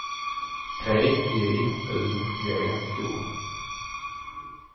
T J U G O